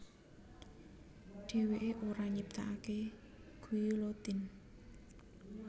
Dheweké ora nyiptakaké guillotine